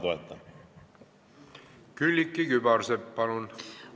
Külliki Kübarsepp, palun!